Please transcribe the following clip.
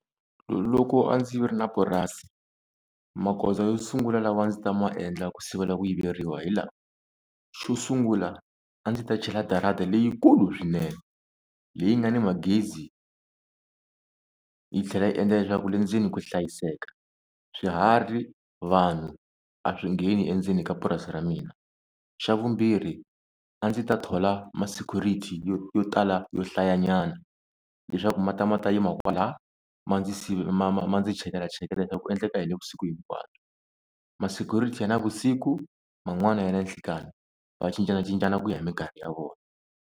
Loko a ndzi ri na purasi magoza yo sungula lawa a ndzi ta ma endla ku sivela ku yiveriwa hi lawa, xo sungula a ndzi ta chela darada leyikulu swinene leyi nga ni magezi yi tlhela yi endla leswaku le ndzeni ku hlayiseka swiharhi vanhu a swi ngheni endzeni ka purasi ra mina xa vumbirhi a ndzi ta thola ma-security yo yo tala yo hlaya nyana leswaku ma ta ma ta yima kwala ma ndzi ma ma ma ndzi chekela cheketela leswaku ku endleka yini vusiku hinkwabyo. Ma-security ya navusiku man'wani ya nanhlikani va cincanacincana ku ya hi minkarhi ya vona.